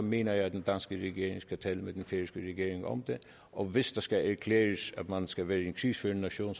mener jeg at den danske regering skal tale med den færøske regering om det og hvis det skal erklæres at man skal være en krigsførende nation